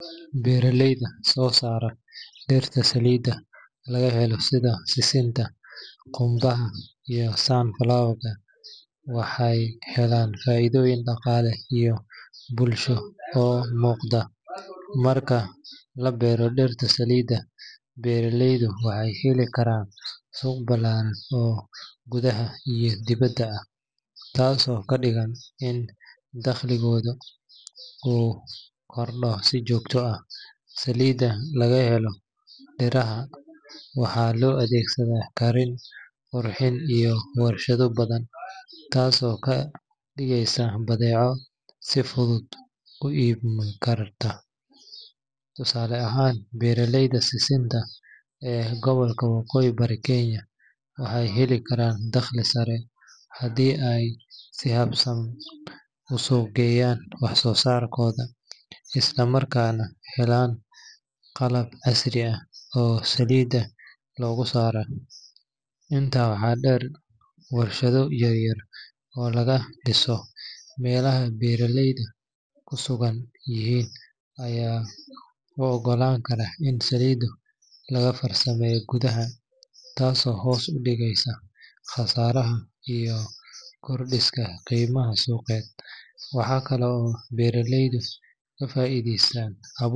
Beeraleyda soo saara dhirta saliidda laga helo sida sisinta, qumbaha, iyo sunflower-ka waxay helaan faa’iidooyin dhaqaale iyo bulsho oo muuqda. Marka la beero dhir saliid ah, beeraleydu waxay heli karaan suuq ballaaran oo gudaha iyo dibaddaba ah, taasoo ka dhigan in dakhligooda uu kordho si joogto ah. Saliidda laga helo dhirahan waxaa loo adeegsadaa karin, qurxinta, iyo warshado badan, taasoo ka dhigaysa badeeco si fudud u iibmi karta. Tusaale ahaan, beeraleyda sisinta ee gobolka waqooyi bari Kenya waxay heli karaan dakhli sare haddii ay si habaysan u suuq geeyaan waxsoosaarkooda, isla markaana helaan qalab casri ah oo saliidda looga saaro. Intaa waxaa dheer, warshado yaryar oo laga dhiso meelaha beeraleyda ku sugan yihiin ayaa u oggolaan kara in saliidda lagu farsameeyo gudaha, taasoo hoos u dhigaysa khasaaraha iyo kordhisa qiimaha suuqeed. Waxaa kale oo beeraleydu ka faa’iidaystaan abuurka.